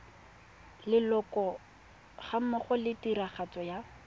leloko gammogo le tiragatso ya